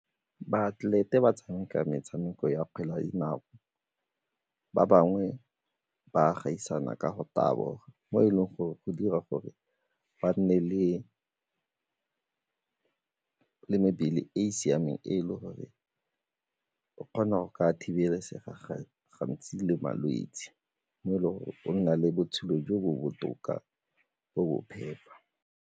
Baatlelete ba tshameka metshameko ya kgwele ya dinao, ba bangwe ba gaisana ka go taboga mo e leng gore go dira gore ba nne le mebele e e siameng e le gore o kgona go ka thibelega gantsi le malwetse mo e le gore o nna le botshelo jo bo botoka bo bo phepa.